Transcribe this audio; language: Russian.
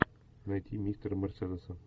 найти мистера мерседеса